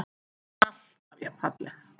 Hún er alltaf jafn falleg.